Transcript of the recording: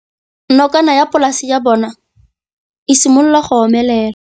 Nokana ya polase ya bona, e simolola go omelela.